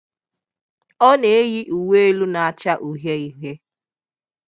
Ọ na-eyi uwé élú nacha uhié uhié.